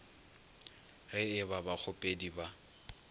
ge e ba bakgopedi ba